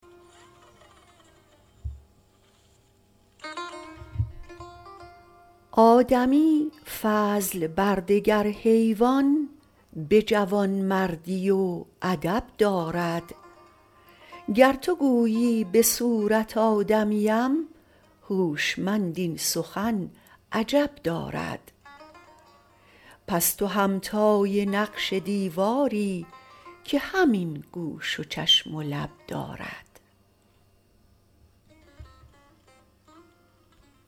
آدمی فضل بر دگر حیوان به جوانمردی و ادب دارد گر تو گویی به صورت آدمیم هوشمند این سخن عجب دارد پس تو همتای نقش دیواری که همین گوش و چشم و لب دارد